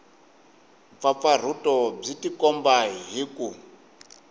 mpfapfarhuto byi tikomba hi ku